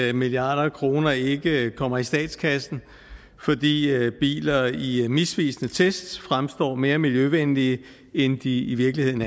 at milliarder af kroner ikke kommer i statskassen fordi biler i i misvisende tests fremstår mere miljøvenlige end de i virkeligheden